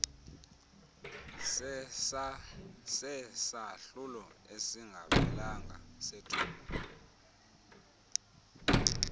sesahlulo esingaphelanga sethuba